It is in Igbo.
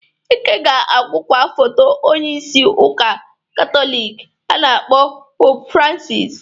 Ika ga-ahụkwa foto onyeisi Ụka Katọliki a na-akpọ Popu Fransis